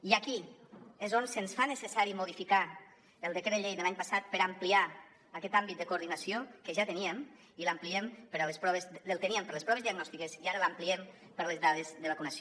i aquí és on se’ns fa necessari modificar el decret llei de l’any passat per ampliar aquest àmbit de coordinació que ja teníem per a les proves diagnòstiques i ara l’ampliem per a les dades de vacunació